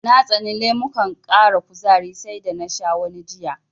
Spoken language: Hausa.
Na tsani lemukan ƙara kuzari sai da na sha wani jiya.